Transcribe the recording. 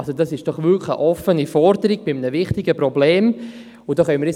» Dies ist doch eine offene Forderung, die ein wichtiges Problem betrifft.